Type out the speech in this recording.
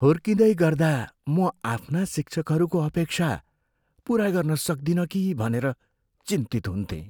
हुर्किँदै गर्दा म आफ्ना शिक्षकहरूको अपेक्षा पुरा गर्न सक्दिनँ कि भनेर चिन्तित हुन्थेँ।